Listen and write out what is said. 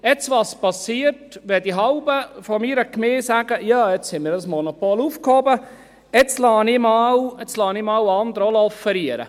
Was passiert, wenn die Hälfte meiner Gemeinde sagt: «Ja, jetzt ist das Monopol aufgehoben, jetzt lasse ich auch einmal andere offerieren»?